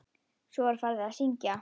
Svo var farið að syngja.